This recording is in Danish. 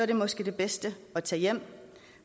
det måske det bedste at tage hjem